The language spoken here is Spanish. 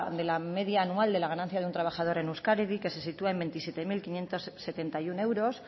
de la media anual de la ganancia de un trabajador en euskadi que se sitúa en veintisiete mil quinientos setenta y uno euros